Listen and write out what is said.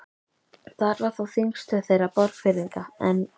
Þar var þá þingstöð þeirra Borgfirðinga, en